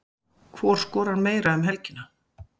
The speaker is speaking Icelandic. Hvor skorar meira um helgina?